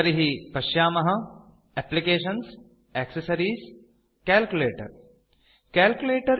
तर्हि पश्यामः एप्लिकेशन्सग्टेक्सेसेसरिएसग्ट्ग्ट्रिसग्ट्केलालकेलकलकलकल्कल्टकलालालकलकलकल्कल्कलाला